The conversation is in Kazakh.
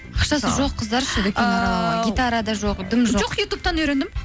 ақшасы жоқ қыздар ше гитара да жоқ жым жоқ жоқ ютубтан үйрендім